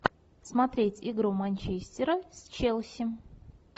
смотреть игру манчестера с челси